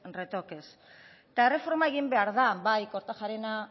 retoques eta erreforma egin behar da bai kortajarena